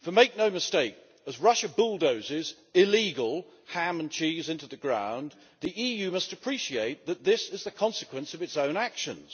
For make no mistake as Russia bulldozes illegal ham and cheese into the ground, the EU must appreciate that this is the consequence of its own actions.